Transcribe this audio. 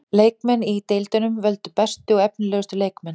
Leikmenn í deildunum völdu bestu og efnilegustu leikmenn.